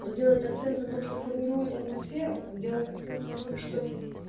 он делает акцент на том что формирует атмосферу он делает акцент на том что